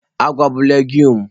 Agwa bụ legsụme.